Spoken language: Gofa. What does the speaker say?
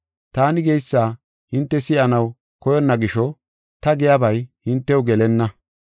Taani geysa hinte si7anaw koyonna gisho ta giyabay hintew gelenna.